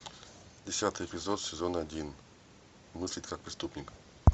десятый эпизод сезон один мыслить как преступник